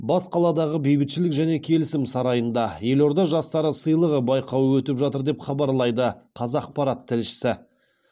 бас қаладағы бейбітшілік және келісім сарайында елорда жастары сыйлығы байқауы өтіп жатыр деп хабарлайды қазақпарат тілшісі